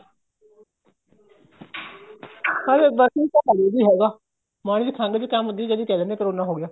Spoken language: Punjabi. ਹੈਗਾ ਮਾੜੀ ਜੀ ਖੰਘ ਜ਼ੁਕਾਮ ਹੁੰਦੀ ਏ ਜਦੀ ਕਹਿ ਦਿੰਨੇ ਏ ਕਰੋਨਾ ਹੋ ਗਿਆ